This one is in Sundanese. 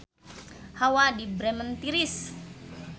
Hawa di Bremen tiris